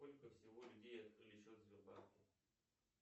сколько всего людей открыли счет в сбербанке